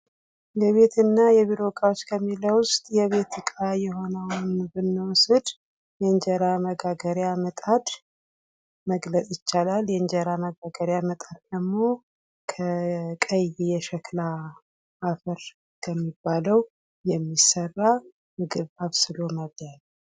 የቤትና የቢሮ እቃዎች የሚለው ውስጥ የቤት ዕቃ የሆነውን ብንወስድ የእንጀራ መጋገሪያ ምጣድ መግለጽ ይቻላል:: የእንጀራ መጋገሪያ ምጣድ ደግሞ ከቀይ የሸክላ አፈር ከሚባለው የሚሠራ ምግብ አብስሎ መብሊያ ነው ::